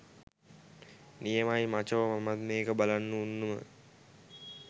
නියමයි මචෝ මමත් මේක බලන්න උන්නුම